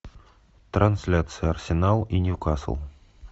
трансляция арсенал и ньюкасл